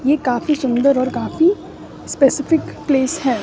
यह काफी सुंदर और काफी स्पेसिफिक प्लेस है।